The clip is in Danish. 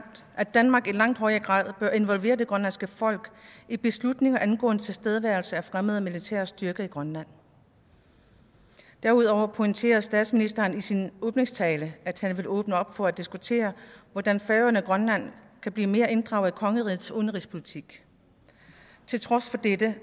at danmark i langt højere grad bør involvere det grønlandske folk i beslutninger angående tilstedeværelse af fremmede militære styrker i grønland derudover pointerede statsministeren i sin åbningstale at han ville åbne op for at diskutere hvordan færøerne og grønland kan blive mere inddraget i kongerigets udenrigspolitik til trods for dette